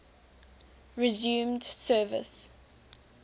resumed service